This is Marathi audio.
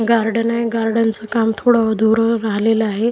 गार्डन आहे गार्डनच काम थोडं अधुरं राहिलेलं आहे.